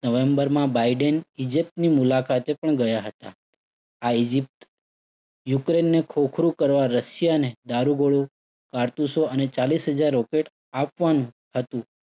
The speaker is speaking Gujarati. નવેમ્બરમાં બાઇડેન ઈજીપ્તની મુલાકાતે પણ ગયા હતા. આ ઈજીપ્ત યુક્રેઇનને ખોખલું કરવા રશિયાને દારૂગોળો કારતૂસો અને ચાલીસ હજાર રોકેટ આપવાનું હતું.